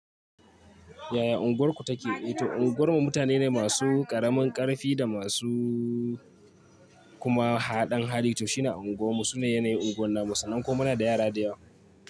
Yaya unguwarku take? Eh to unguwarmu mutane ne masu ƙaramin ƙarfi da masu kuma haɗan hali. To shine a unguwarmu. Sune yanayin unguwar namu, sannan kuma muna da yara da yawa.